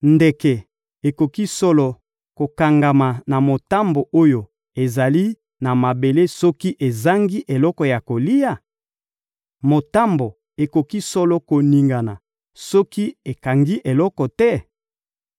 Ndeke ekoki solo kokangama na motambo oyo ezali na mabele soki ezangi eloko ya kolia? Motambo ekoki solo koningana soki ekangi eloko te?